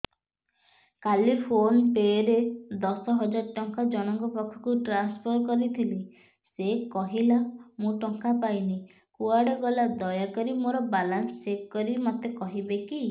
କାଲି PhonePe ରେ ଦଶ ହଜାର ଟଙ୍କା ଜଣକ ପାଖକୁ ଟ୍ରାନ୍ସଫର୍ କରିଥିଲି ସେ କହିଲା ମୁଁ ଟଙ୍କା ପାଇନି କୁଆଡେ ଗଲା ଦୟାକରି ମୋର ବାଲାନ୍ସ ଚେକ୍ କରି ମୋତେ କହିବେ କି